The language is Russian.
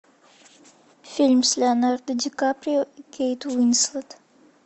фильм с леонардо ди каприо и кейт уинслет